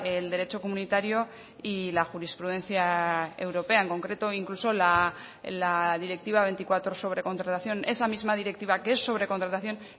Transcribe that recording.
el derecho comunitario y la jurisprudencia europea en concreto incluso la directiva veinticuatro sobre contratación esa misma directiva que es sobre contratación